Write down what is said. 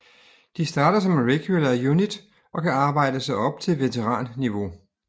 De starter som regular unit og kan arbejde sig op til veteranniveau